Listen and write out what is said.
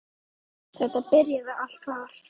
Þetta byrjaði allt þar.